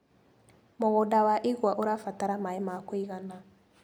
Mũgunda wa igwa ũrabatara maĩ ma kũigana.